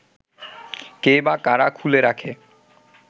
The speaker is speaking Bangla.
কে বা কারা খুলে রাখে